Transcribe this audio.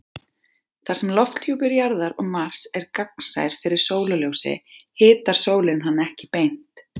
Þar sem lofthjúpur Jarðar og Mars er gagnsær fyrir sólarljósi hitar sólin hann ekki beint.